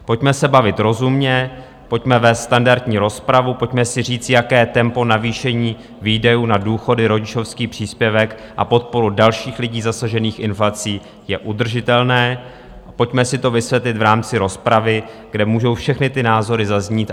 Pojďme se bavit rozumně, pojďme vést standardní rozpravu, pojďme si říci, jaké tempo navýšení výdajů na důchody, rodičovský příspěvek a podporu dalších lidí zasažených inflací je udržitelné, pojďme si to vysvětlit v rámci rozpravy, kde můžou všechny ty názory zaznít.